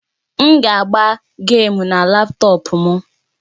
M ga agba gèmu na laptọọpụ m